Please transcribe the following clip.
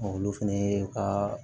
olu fɛnɛ ye ka